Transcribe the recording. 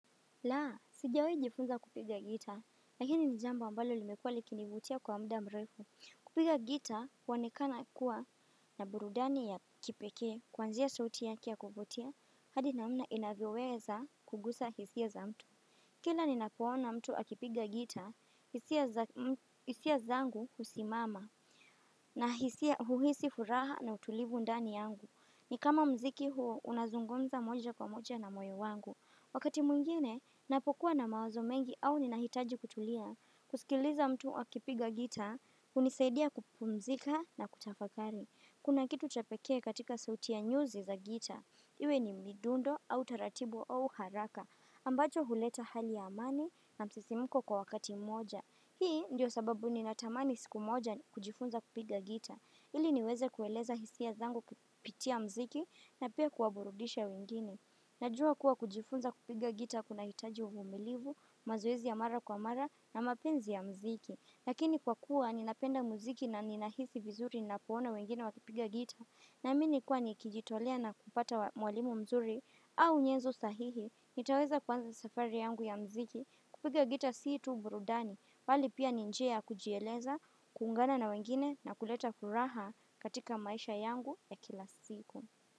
Laa, sijawai jifunza kupiga gita, lakini jambo ambalo limekuwa likinivutia kwa muda mrefu. Kupiga gitaa huonekana kuwa na burudani ya kipeke kuanziaa sauti yaki ya kuvutia, hadi namna inavyoweza kugusa hisia za mtu. Kila ninapoona mtu akipiga gita, hisia zangu husimama, na hisia huhisi furaha na utulivu ndani yangu. Ni kama mziki huo unazungumza moja kwa moja na moyo wangu. Wakati mwingine, napokuwa na mawazo mengi au nina hitaji kutulia, kusikiliza mtu akipiga gita, unisaidia kupumzika na kutafakari. Kuna kitu cha pekee katika sauti ya nyuzi za gita. Iwe ni midundo au taratibu au haraka, ambacho huleta hali ya amani na msisimuko kwa wakati moja. Hii ndio sababu ni natamani siku moja kujifunza kupiga gita. Ili niweze kueleza hisia zangu kupitia mziki na pia kuwaburudisha wengine. Najua kuwa kujifunza kupiga gita kuna hitaji uvumilivu, mazoezi ya mara kwa mara na mapenzi ya mziki Lakini kwa kuwa ninapenda mziki na ninahisi vizuri ninapoona wengine wakipiga gita Naamini kwa nikijitolea na kupata mwalimu mzuri au nyezo sahihi nitaweza kwanza safari yangu ya mziki kupiga gita siitu burudani bali pia njia kujieleza, kuungana na wengine na kuleta furaha katika maisha yangu ya kila siku.